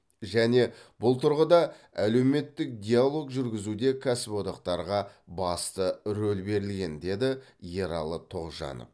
және бұл тұрғыда әлеуметтік диалог жүргізуде кәсіподақтарға басты рөл берілген деді ералы тоғжанов